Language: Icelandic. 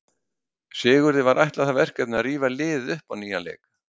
Sigurði var ætlað það verkefni að rífa liðið upp á nýjan leik.